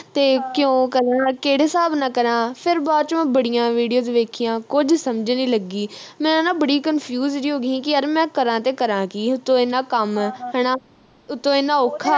ਤੇ ਕਿਉਂ ਕਰਨਾ ਕਿਹੜੇ ਹਿਸਾਬ ਨਾਲ ਕਰਾ ਫਿਰ ਬਾਅਦ ਵਿਚ ਬੜੀਆਂ videos ਵੇਖੀਆਂ ਕੁਝ ਸਮਝ ਨੀ ਲੱਗੀ ਮੈਂ ਨਾ ਬੜੀ confuse ਜੀ ਹੋ ਗਈ ਹੀ ਕਿ ਯਾਰ ਮੈਂ ਕਰਾ ਤੇ ਕਰਾ ਕੀ ਉਤੋਂ ਇਨ੍ਹਾਂ ਕੰਮ ਹਣਾ ਉਤੋਂ ਇਨ੍ਹਾਂ ਔਖਾ